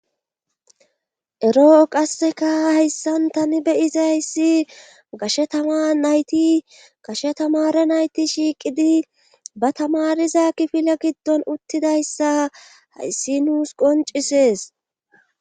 eroo qasseka hayssan tani beyizayssi gashe tama nayti gashe tamare nayti shiiqidi ba tamariza kifile giddon uttidayssa hayssi nuus qoncisees